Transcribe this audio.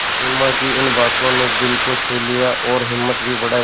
सिमा की इन बातों ने दिल को छू लिया और हिम्मत भी बढ़ाई